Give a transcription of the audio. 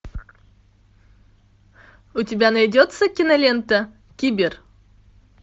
у тебя найдется кинолента кибер